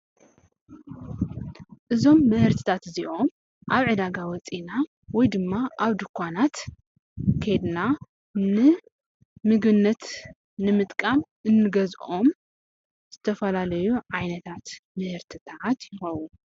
እዞም ምህርትታት እዚኦም ኣብ ዕዳጋ ወፂእና ወይ ድማ ኣብ ድኳናት ኬድና ንምግብነት ንምጥቃም እንገዝኦም ዝተፈላለዩ ዓይነታት ምህርቲ እዮም።